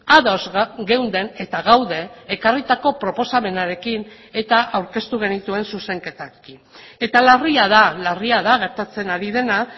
ados geunden eta gaude ekarritako proposamenarekin eta aurkeztu genituen zuzenketekin eta larria da larria da gertatzen ari dena